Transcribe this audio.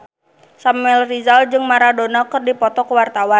Samuel Rizal jeung Maradona keur dipoto ku wartawan